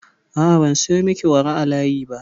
A'a, ban sayo miki wara a layi ba.